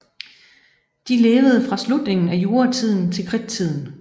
De levede fra slutningen af juratiden til kridttiden